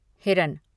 हिरन